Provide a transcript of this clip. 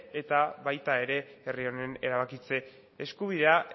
eta baita herri honen erabakitze eskubidea